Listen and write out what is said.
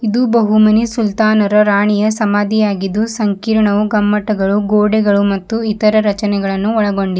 ಇದು ಬಹುಮನಿ ಸುಲ್ತಾನರು ರಾಣಿಯ ಸಮಾಧಿಯಾಗಿದ್ದು ಸಂಕೀರ್ಣವು ಗಮ್ಮಟಗಳು ಗೋಡೆಗಳು ಮತ್ತು ಇತರ ರಚನೆಗಳನ್ನು ಒಳಗೊಂಡಿ--